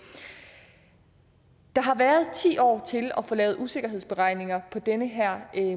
der har været ti år til at få lavet usikkerhedsberegninger på den her